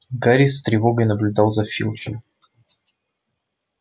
гарри с тревогой наблюдал за филчем